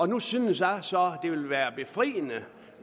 nu synes jeg så det ville være befriende